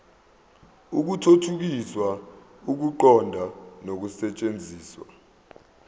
ukuthuthukisa ukuqonda nokusetshenziswa